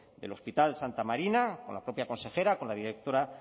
del hospital santa marina con la propia consejera con la directora